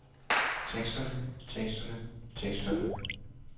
teksterne teksterne teksterne